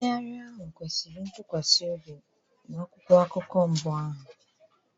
Nkwagharị ahụ kwesịrị ntụkwasị obi na akwụkwọ akụkọ mbụ ahụ.